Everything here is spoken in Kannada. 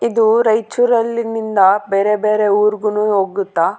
ಇದು ರೈಚೂರಲ್ಲಿನಿಂದ ಬೆರೆಬೆರೆ ಊರ್ಗೂನು ಹೋಗುತ್ತ.